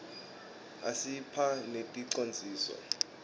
asiphhq neticondziso